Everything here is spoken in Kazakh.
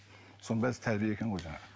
соның бәрі тәрбие екен ғой жаңағы